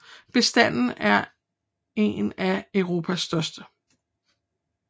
Bestanden er en af Europas største